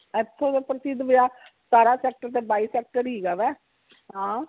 ਇਥੋਂ ਦੇ ਪ੍ਰਸਿੱਧ ਬਾਜ਼ਾਰ ਸਤਾਰਾ sector ਤੇ ਬਾਈ sector ਹੀ ਹੇਗਾ ਵਾ ਹਾਂ